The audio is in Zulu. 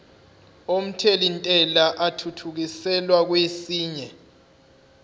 omthelintela athuthukiselwa kwesinye